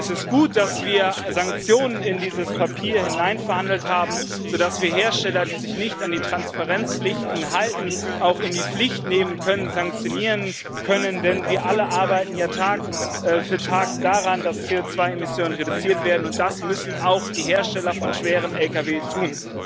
Es ist gut, dass wir Sanktionen in dieses Papier hineinverhandelt haben, sodass wir Hersteller, die sich nicht an die Transparenzpflichten halten, auch in die Pflicht nehmen, sanktionieren können, denn wir alle arbeiten ja Tag für Tag daran, dass CO2 Emissionen reduziert werden, und das müssen auch die Hersteller von schweren Lkw tun.